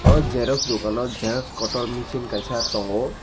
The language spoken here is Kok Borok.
aw xerox dukan o xerox kotor misin kaisa tongo.